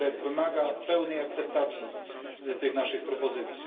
Wymaga on pełnej akceptacji tych naszych propozycji.